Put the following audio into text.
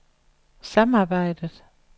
samarbejdet